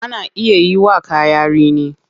Ana iya yiwa kaya rini.